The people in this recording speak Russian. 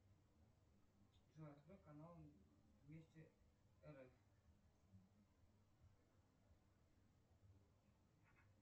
джой открой канал вместе рф